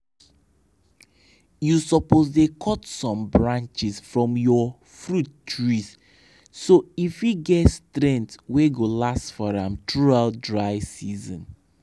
you suppose dey cut some branches from ya fruit trees so e fit get strength wey go last for am throughout dry season.